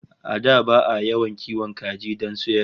A da ba'a yawan kiwon kaji don sayarwa